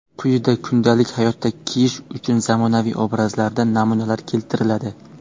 Quyida kundalik hayotda kiyish uchun zamonaviy obrazlardan namunalar keltiriladi.